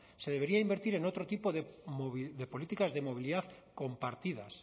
se debería invertir en otro tipo de políticas de movilidad compartidas